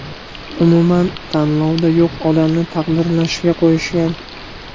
Umuman tanlovda yo‘q odamni taqdirlashgan-qo‘yishgan.